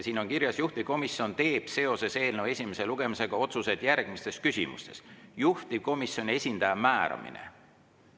Siin on kirjas, et juhtivkomisjon teeb seoses eelnõu esimese lugemisega otsuseid järgmistes küsimustes: juhtivkomisjoni esindaja määramine.